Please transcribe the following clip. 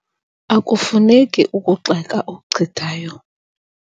Akufuneki ukugxeka okuchithayo.